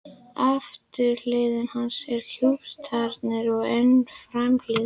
Afturhlið hans er kúptari en framhliðin.